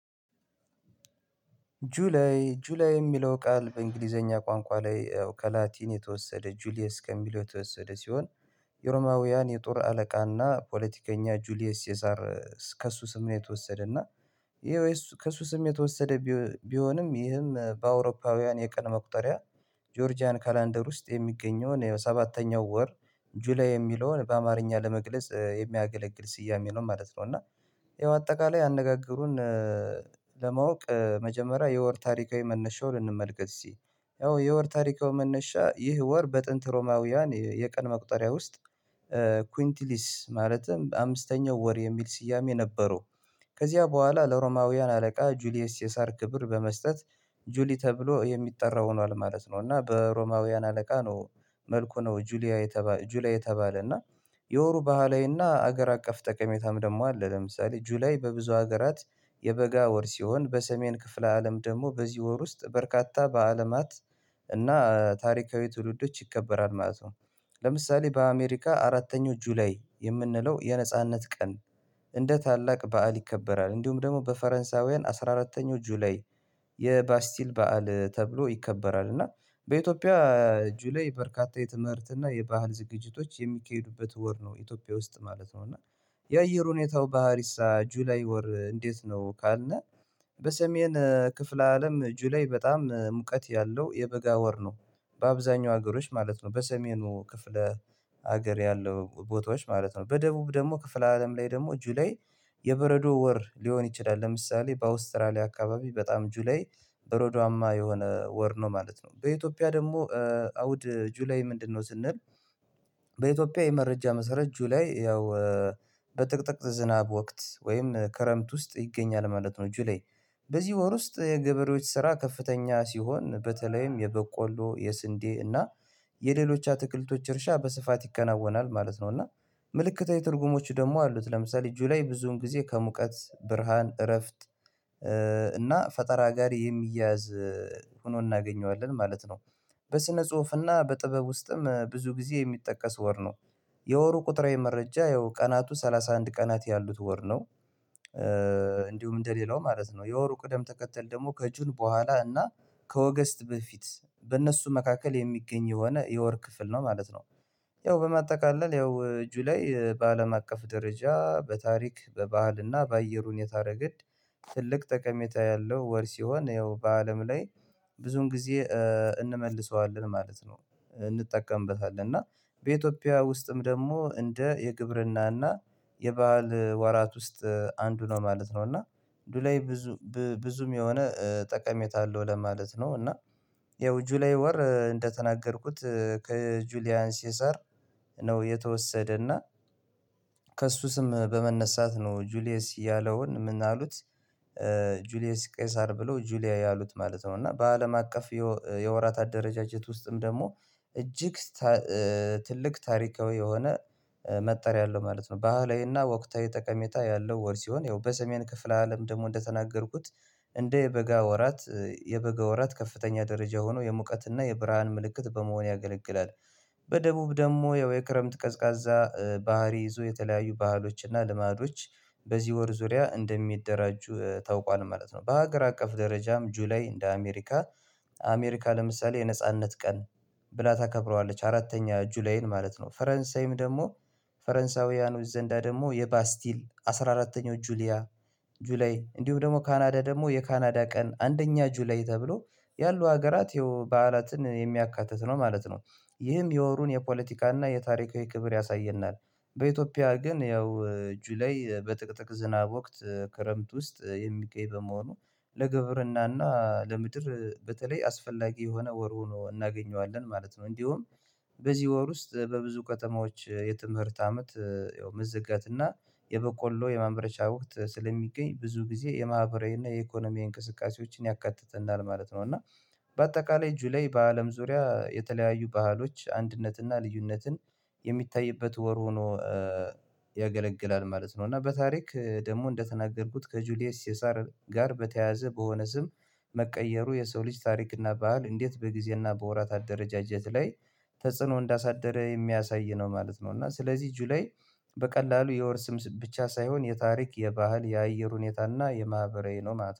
ጁላይ ጁላይ የሚለው ቃል በእንግሊዘኛ ቋንቋ ላይ ከላቲን የተወሰደ ጁሊየስ ከሚለው የተወሰደ ሲሆን፤ የሮማውያን የጦር አለቃና ፖለቲከኛ ጁሊየስ ቄሳር ከእሱ ስሜት የተወሰደ እና ይሄ ወይ እሱ ከእሱ ስሜት የተወሰደ ቢሆንም ይህም በአውሮፓውያን የቀን መቁጠሪያ ጆርጂያን ካላንደር ውስጥ የሚገኘውን ሰባተኛው ወር ጁላይ የሚለውን በአማርኛ ለመግለጽ የሚያገለግል ስያሜ ነው ማለት ነው። እና ያው አጠቃላይ አነጋገሩን ለማወቅ መጀመሪያ የወር ታሪካዊ መነሻውን እንመልከት እስኪ ያው የወር ታሪካዊ መነሻ ይህ ወር በጥንት ሮማውያን የቀን መቁጠሪያ ውስጥ ኩንቲሊስ ማለትም በአምስተኛው ወር የሚል ስያሜ ነበረው። ከዚያ በኋላ ለሮማውያን አለቃ ጁሊየስ ቄሳር ክብር በመስጠት ጁሊ ተብሎ የሚጠራ ሆኗል ማለት ነው። እና በሮማውያን አለቃ ነው መልኩ ነው ጁላይ ጁሊያ የተባለ። እና የወሩ ባህላዊና ሀገር አቀፍ ጠቀሜታም ደግሞ አለ። ለምሳሌ ጁላይ በብዙ ሀገራት የበጋ ወር ሲሆን በሰሜን ክፍለ አለም ደግሞ በዚህ ወር ውስጥ በርካታ በአለማት እና ታሪካዊ ትውልዶች ይከበራል ማለት ነው። ለምሳሌ በአሜሪካ አራተኛው ጁላይ የምንለው የነጻነት ቀን እንደ ታላቅ በዓል ይከበራል። እንዲሁም ደግሞ በፈረንሳውያን አስራ አራተኛው ጁላይ የባስቲል በዓል ተብሎ ይከበራል። እና በኢትዮጵያ ጁሌይ በርካታ የትምህርት እና የባህል ዝግጅቶች የሚካሄዱበት ወር ነው። ኢትዮጵያ ውስጥ ማለት ነው። እና የአየር ሁኔታው ባህሪሳ ጁላይ ወር እንዴት ነው? ካልነ በሰሜን ክፍለ አለም ጁላይ በጣም ሙቀት ያለው የበጋ ወር ነው። በአብዛኛው ሀገሮች ማለት ነው፤ በሰሜኑ ክፍለ ሀገር ያለው ቦታዎች ማለት ነው። በደቡብ ደግሞ ክፍለ አለም ላይ ደግሞ ጁላይ የበረዶ ወር ሊሆን ይችላል። ለምሳሌ በአውስትራሊያ አካባቢ በጣም ጁላይ በረዷማ የሆነ ወር ነው ማለት ነው። በኢትዮጵያ ደግሞ አውድ ጁላይ ምንድነው? ስንል በኢትዮጵያ የመረጃ መሰረት ጁላይ ያው በጥቅጥቅ ዝናብ ወቅት ወይም ከረምት ውስጥ ይገኛል ማለት ነው ጁላይ። በዚህ ወር ውስጥ የገበሬዎች ስራ ከፍተኛ ሲሆን በተለይም የበቆሎ የስንዴ እና የሌሎች አትክልቶች እርሻ በስፋት ይከናወናል ማለት ነው። እና ምልክታዊ ትርጉሞች ደግሞ አሉት። ለምሳሌ ጁላይ ብዙውን ጊዜ ከሙቀት ብርሃን እረፍት እና ፈጠራ ጋር የሚያዝ ሆኖ እናገኘዋለን ማለት ነው። በስነ ጽሁፍና በጥበብ ውስጥም ብዙ ጊዜ የሚጠቀስ ወር ነው። የወሩ ቁጥራዊ መረጃ ያው ቀናቱ ሰላሳ አንድ ቀናት ያሉት ወር ነው። እንዲሁም እንደሌላው ማለት ነው፤ የወሩ ቅደም ተከተል ደግሞ ከጁን በኋላ እና ከወገስት በፊት በእነሱ መካከል የሚገኝ የሆነ የወር ክፍል ነው ማለት ነው። ያው በማጠቃለል ያው ጁላይ በአለም አቀፍ ደረጃ በታሪክ በባህልና በአየር ሁኔታ ረገድ ትልቅ ጠቀሜታ ያለው ወር ሲሆን፤ ያው በአለም ላይ ብዙን ጊዜ እንመልሰዋለን ማለት ነው። እንጠቀምበታለን። እና በኢትዮጵያ ውስጥም ደግሞ እንደ የግብርና እና የባህል ወራት ውስጥ አንዱ ነው ማለት ነው። እና ጁላይ ብዙ ብዙም የሆነ ጠቀሜታ አለው ለማለት ነው። እና ያው ጁላይ ወር እንደተናገርኩት ከጁሊያን ቄሳር ነው የተወሰደና ከእሱ ስም በመነሳት ነው ጁሊየስ ያለውን ምን አሉት ጁሊየስ ቄሳር ብሎ ጁላይ አሉት ማለት ነው። እና በአለም አቀፍ የወራት አደረጃጀት ውስጥም ደግሞ እጅግ ትልቅ ታሪካዊ የሆነ መጠሪያ አለው ማለት ነው። ባህላዊና ወቅታዊ ጠቀሜታ ያለው ወር ሲሆን ያው በሰሜን ክፍለ አለም ደግሞ እንደተናገርኩት እንደ የበጋ ወራት የበጋ ወራት ከፍተኛ ደረጃ ሆኖ የሙቀትና የብርሃን ምልክት በመሆን ያገለግላል። በደቡብ ደግሞ ያው የክረምት ቀዝቃዛ ባህሪ ይዞ የተለያዩ ባህሎች እና ልማዶች በዚህ ወር ዙሪያ እንደሚደራጁ ታውቋል ማለት ነው። በሀገር አቀፍ ደረጃም ጁላይ እንደ አሜሪካ አሜሪካ ለምሳሌ የነጻነት ቀን ብላ ታከብረዋለች አራተኛ ጁላይን ማለት ነው። ፈረንሳይም ደግሞ ፈረንሳውያኖች ዘንዳ ደግሞ የባስቲል አስራ አራተኛው ጁሊያ ጁላይ እንዲሁም ደግሞ ካናዳ ደግሞ የካናዳ ቀን አንደኛ ጁላይ ተብሎ ያሉ ሀገራት በዓላትን የሚያካትት ነው ማለት ነው። ይህም የወሩን የፖለቲካና የታሪካዊ ክብር ያሳየናል። በኢትዮጵያ ግን ያው ጁላይ በጥቅጥቅ ዝናብ ወቅት ክረምት ውስጥ የሚገኝ በመሆኑ ለግብርናና ለምድር በተለይ አስፈላጊ የሆነ ወር ሆኖ እናገኘዋለን ማለት ነው። እንዲሁም በዚህ ወር ውስጥ በብዙ ከተማዎች የትምህርት አመት መዘጋት እና የበቆሎ የማምረቻ ወቅት ስለሚገኝ ብዙ ጊዜ የማህበራዊ እና የኢኮኖሚ እንቅስቃሴዎችን ያካትተናል ማለት ነው። እና በአጠቃላይ ጁላይ በአለም ዙሪያ የተለያዩ ባህሎች አንድነትና ልዩነትን የሚታይበት ወር ሆኖ ያገለግላል ማለት ነው። እና በታሪክ ደግሞ እንደተናገርኩት ከጁሊየስ ቄሳር ጋር በተያያዘ በሆነ ስም መቀየሩ የሰው ልጅ ታሪክና ባህል እንዴት በጊዜና በወራት አደረጃጀት ላይ ተጽዕኖ እንዳሳደረ የሚያሳይ ነው ማለት ነው። እና ስለዚህ ጁላይ በቀላሉ የወር ስም ብቻ ሳይሆን የታሪክ የባህል የአየር ሁኔታ እና የማህበራዊ ነው ማለት ነው።